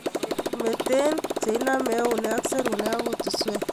Mete inomei eunek ak serunek ak kutuswek.